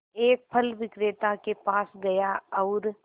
एक फल विक्रेता के पास गया और